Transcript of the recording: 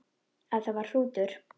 Ef það var hrútur.